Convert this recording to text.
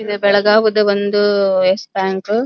ಇದ ಬೆಲಗಾವ್ ಅದ ಒಂದು ಯಸ ಬ್ಯಾಂಕ್ .